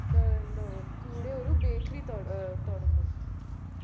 ഏർ എന്തോ കൂടെ ഒരു bakery തോട് ഏർ തൊടങ്ങും